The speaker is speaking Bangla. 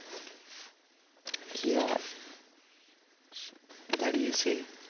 কি আর দাঁড়িয়ে সে